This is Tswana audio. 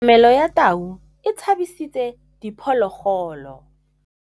Katamêlô ya tau e tshabisitse diphôlôgôlô.